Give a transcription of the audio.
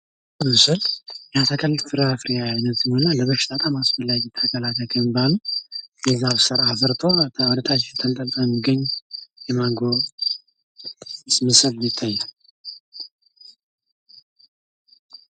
ይህ ምስል የአትክልት ፍራፊሬ አይነት ነው እና ለበሽታ በጣም አስፈላጊ ተከላክይ ከሚባሉት ከስር አፍርቶ ተንጠልጥሎ የሚገኝ የማንጎ ምስል ይታያል።